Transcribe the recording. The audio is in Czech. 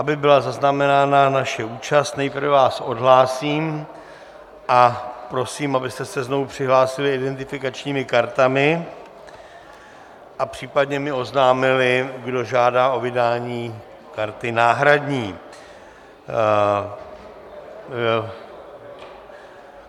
Aby byla zaznamenána naše účast, nejprve vás odhlásím a prosím, abyste se znovu přihlásili identifikačními kartami a případně mi oznámili, kdo žádá o vydání karty náhradní.